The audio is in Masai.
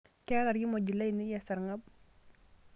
Keeta irkimojik lainei esarng'ab.